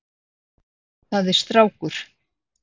Það er strákur.